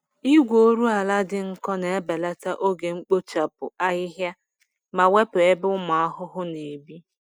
Igwe oru ala dị nkọ na-ebelata oge mkpochapụ ahịhịa ma wepụ ebe ụmụ ahụhụ na-ebi.